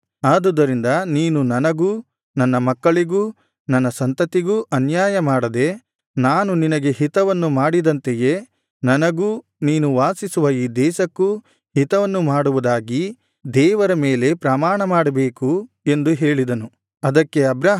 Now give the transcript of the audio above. ಆದುದರಿಂದ ನೀನು ನನಗೂ ನನ್ನ ಮಕ್ಕಳಿಗೂ ನನ್ನ ಸಂತತಿಗೂ ಅನ್ಯಾಯ ಮಾಡದೆ ನಾನು ನಿನಗೆ ಹಿತವನ್ನು ಮಾಡಿದಂತೆಯೇ ನನಗೂ ನೀನು ವಾಸಿಸುವ ಈ ದೇಶಕ್ಕೂ ಹಿತವನ್ನು ಮಾಡುವುದಾಗಿ ದೇವರ ಮೇಲೆ ಪ್ರಮಾಣ ಮಾಡಬೇಕು ಎಂದು ಹೇಳಿದನು